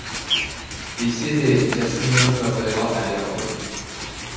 десе де ясминаның жағдайы әлі ауыр